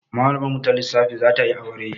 Malamar mu ta lissafi zatayi aure